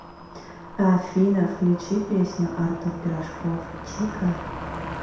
афина включи песню артур пирожков чика